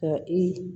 Ka i